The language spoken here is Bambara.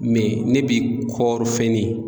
ne bi kɔɔri fɛnni